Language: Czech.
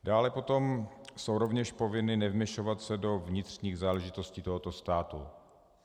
Dále potom jsou rovněž povinny nevměšovat se do vnitřních záležitostí tohoto státu.